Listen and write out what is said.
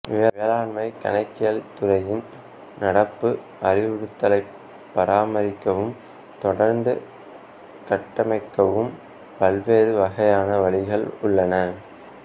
மேலாண்மைக் கணக்கியல் துறையின் நடப்பு அறிவுத்தளத்தைப் பராமரிக்கவும் தொடர்ந்து கட்டமைக்கவும் பல்வேறு வகையான வழிகள் உள்ளன